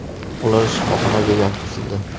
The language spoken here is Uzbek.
Ular shifoxonaga yotqizildi.